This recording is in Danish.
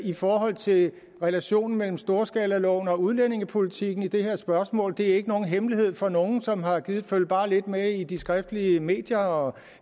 i forhold til relationen mellem storskalaloven og udlændingepolitikken i det her spørgsmål det er ikke nogen hemmelighed for nogen som har gidet følge bare lidt med i de skriftlige medier og